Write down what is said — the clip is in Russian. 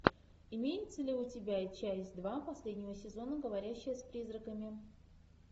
имеется ли у тебя часть два последнего сезона говорящая с призраками